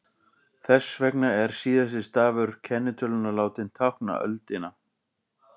Þess vegna er síðasti stafur kennitölunnar látinn tákna öldina.